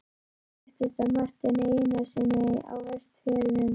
Það fréttist af Marteini Einarssyni á Vestfjörðum.